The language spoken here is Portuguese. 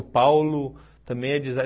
O Paulo também é designer.